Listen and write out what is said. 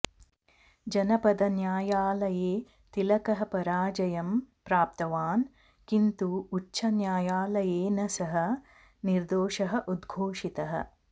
जनपदन्यायालये तिलकः पराजयं प्राप्तवान् किन्तु उच्चन्यायालयेन सः निर्दोषः उद्घोषितः